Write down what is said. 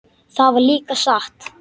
Það var líka satt.